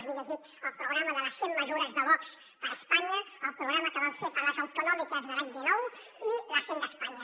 m’he llegit el programa de les cent mesures de vox per a espanya el programa que van fer per a les autonòmiques de l’any dinou i l’paña